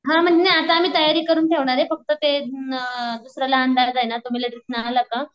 हा म्हणजे ना आता आम्ही तयारी करून ठेवणारे फक्त ते दन् दुसरा लहान दादाये ना तो मिलेट्रीतन आला का